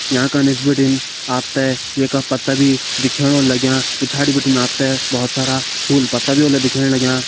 यांका का निस बिटिन आप ते ये का पत्ता भी दिखेण होला लग्यां पिछाड़ी बिटिन आप ते बहोत सारा फूल पत्ता भी होला दिखेण लग्यां।